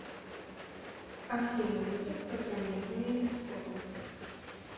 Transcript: афина язык программирования биткоин